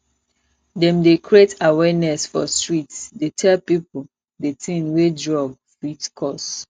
dem dey create awareness for street dey tell pipu di tin wey drug fit cause